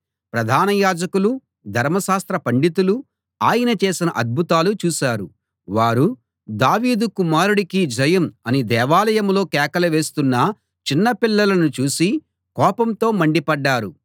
ప్రధాన యాజకులూ ధర్మశాస్త్ర పండితులూ ఆయన చేసిన అద్భుతాలు చూశారు వారు దావీదు కుమారుడికి జయం అని దేవాలయంలో కేకలు వేస్తున్న చిన్నపిల్లలను చూసి కోపంతో మండిపడ్డారు